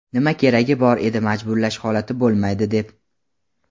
Nima keragi bor edi majburlash holati bo‘lmaydi deb?.